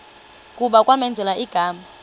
kuba kwamenzela igama